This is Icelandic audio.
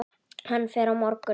Hann fer á morgun.